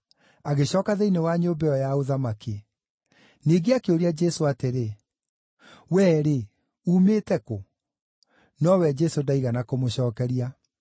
agĩcooka thĩinĩ wa nyũmba ĩyo ya ũthamaki. Ningĩ akĩũria Jesũ atĩrĩ, “Wee-rĩ, uumĩte kũ?” Nowe Jesũ ndaigana kũmũcookeria.